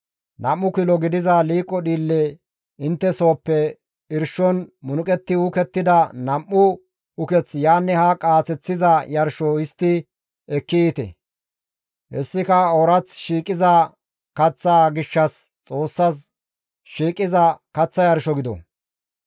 Nam7u kilo gidiza liiqo dhiille intte sooppe irshon munuqetti uukettida nam7u uketh yaanne haa qaaseththiza yarsho histti ekki yiite; hessika oorath shiiqiza kaththaa gishshas Xoossas shiiqiza kaththa yarsho gido.